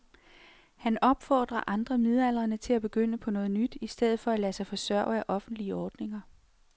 Han opfordrer andre midaldrende til at begynde på noget nyt i stedet for at lade sig forsørge af offentlige ordninger.